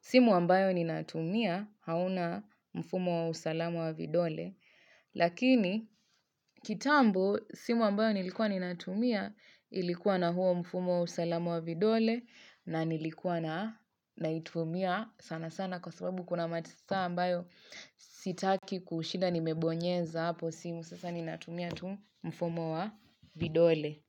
simu ambayo ni natumia hauna mfumo wa usalamu wa vidole lakini kitambo simu ambayo nilikuwa ni natumia ilikuwa na huo mfumo wa usalamu wa vidole na nilikuwa na naitumia sana sana kwa sababu kuna matisa ambayo sitaki kushida nimebonyeza hapo simu sasa ni natumia tu mfumo wa vidole.